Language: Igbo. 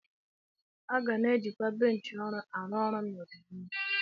A ga na-eji kwa benchi ọrụ arụ ọrụ n'ọdịnihu.